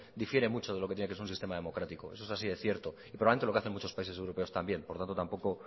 difiere mucho de lo que tiene que ser un sistema democrático eso es así de cierto y probablemente lo que hace muchos países europeos también por lo tanto tampoco